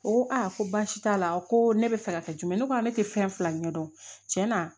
O ko a ko basi t'a la ko ne bɛ fɛ ka kɛ jumɛn ye ne ko ne tɛ fɛn fila ɲɛdɔn cɛnna